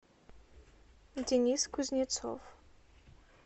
денис кузнецов